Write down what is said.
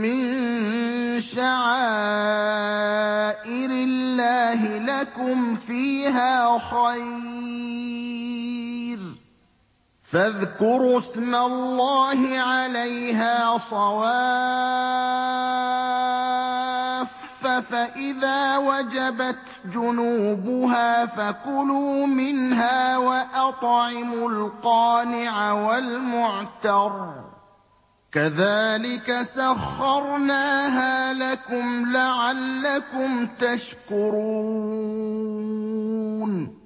مِّن شَعَائِرِ اللَّهِ لَكُمْ فِيهَا خَيْرٌ ۖ فَاذْكُرُوا اسْمَ اللَّهِ عَلَيْهَا صَوَافَّ ۖ فَإِذَا وَجَبَتْ جُنُوبُهَا فَكُلُوا مِنْهَا وَأَطْعِمُوا الْقَانِعَ وَالْمُعْتَرَّ ۚ كَذَٰلِكَ سَخَّرْنَاهَا لَكُمْ لَعَلَّكُمْ تَشْكُرُونَ